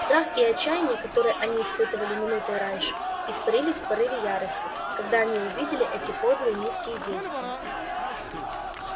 страх и отчаяние которое они испытывали минутой раньше испарились в порыве ярости когда они увидели эти подлые низкие действия